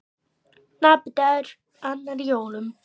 Napur dagur, annar í jólum.